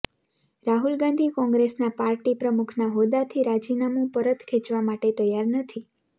રાહુલ ગાંધી કોંગ્રેસના પાર્ટી પ્રમુખના હોદ્દાથી રાજીનામુ પરત ખેંચવા માટે તૈયાર નથી